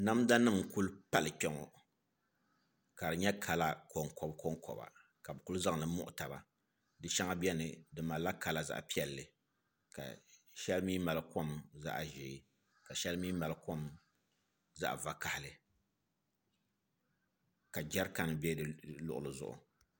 Namda nim n ku pali kpɛ ŋɔ ka di nyɛ kala konkoba konkoba ka bi ku zaŋli muɣu taba di shɛŋa biɛni di malla kala zaɣ piɛlli ka shɛli mii mali kom zaɣ ʒiɛ ka shɛli mii mali kom zaɣ vakaɣali ka jɛrikan bɛ di luɣuli zuɣu